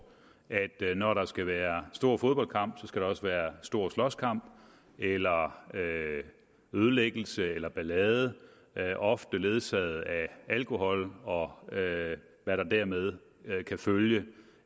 at når der skal være stor fodboldkamp skal der også være stor slåskamp eller ødelæggelse eller ballade ofte ledsaget af alkohol og hvad der dermed kan følge